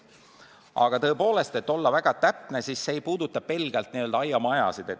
Aga tõepoolest, et olla väga täpne, ma märgin, et see ei puuduta ainult n-ö aiamajasid.